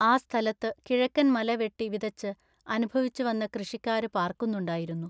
ആ സ്ഥലത്തു കിഴക്കൻ മല വെട്ടി വിതച്ചു അനുഭവിച്ചു വന്ന കൃഷിക്കാരു പാർക്കുന്നുണ്ടായിരുന്നു.